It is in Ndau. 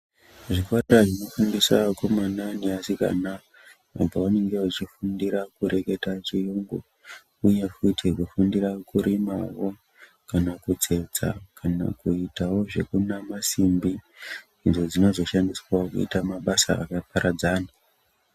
Zvipatara zvinofundisa vakomana navasikana pavanenge vachifundira kureketa chiyungu uye koita kufundira kurimawo kana kutsetsa kana kuitawo zvekunama simbi idzo dzinozoshandiswawo kuita mabasa akaparadzana.